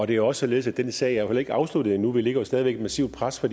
det er også således at den sag heller ikke er afsluttet endnu vi lægger jo stadig væk et massivt pres for